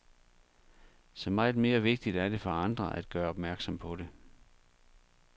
Så meget mere vigtigt er det for andre at gøre opmærksom på det.